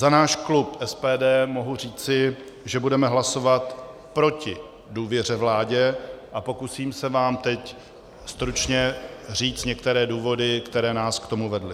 Za náš klub SPD mohu říci, že budeme hlasovat proti důvěře vládě, a pokusím se vám teď stručně říct některé důvody, které nás k tomu vedly.